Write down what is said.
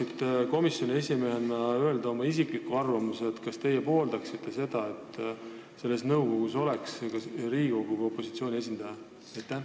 Kas te saate komisjoni esimehena öelda oma isikliku arvamuse, kas teie arvates võiks selles nõukogus olla ka Riigikogu opositsiooni esindaja?